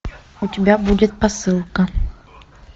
у тебя будет посылка